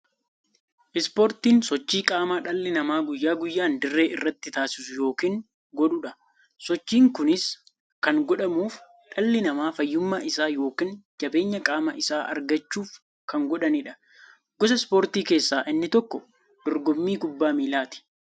Ispoortiin sochii qaamaa dhalli namaa guyyaa guyyaan dirree irratti taasisu yookiin godhuudha. Sochiin kunis kan godhamuuf, dhalli namaa fayyummaa isaa yookiin jabeenya qaama isaa argachuuf kan godhaniidha. Gosa ispoortii keessaa inni tokko dorgommii kubbaa milaati.